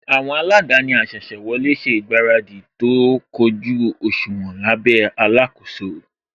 Àwọn aladaani asese wọlé ṣe ìgbáradì tó kójú òṣùwọ̀n lábẹ́ alakoso